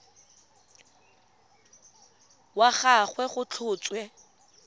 wa ga gagwe go tlhotswe